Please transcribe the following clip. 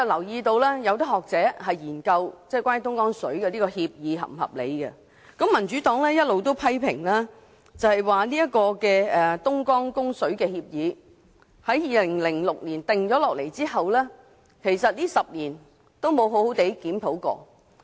有學者曾研究有關供水協議是否合理；民主黨亦一直批評這份供水協議自2006年制訂後，在10年間也未曾好好檢討。